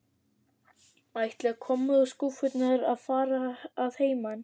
Ætla kommóðuskúffurnar að fara að heiman?